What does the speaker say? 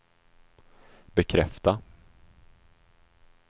bekräfta